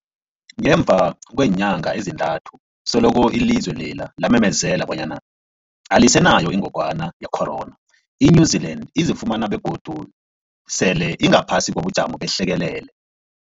Ngemva kweenyanga ezintathu selokhu ilizwe lela lamemezela bonyana alisenayo ingogwana ye-corona, i-New-Zealand izifumana godu sele ingaphasi kobujamo behlekelele.